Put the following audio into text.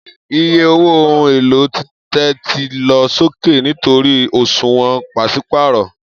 Iye owó ohun èlò títẹ̀ ti lọ sókè nítorí òṣùwọ̀n pàṣípààrọ̀